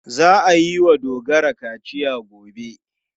Za a yi wa Dogara kaciya gobe.